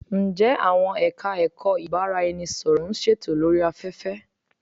Ǹjẹ àwọn Ẹ̀ka-ẹ̀kọ́ ìbárá-ẹni-sọ̀rọ̀ ń ṣètò lórí afẹ́fẹ́?